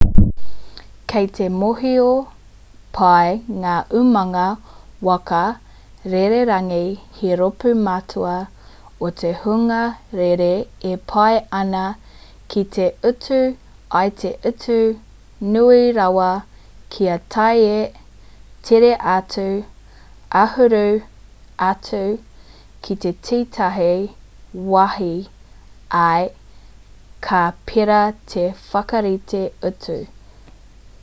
kei te mōhio pai ngā umanga waka rererangi he rōpū matua o te hunga rere e pai ana ki te utu i te utu nui rawa kia tae tere atu āhuru atu ki tētahi wāhi ā ka pērā te whakarite utu